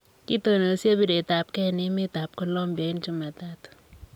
Kitonosiek pireteab kei en emet am Colombuia en chumatatu.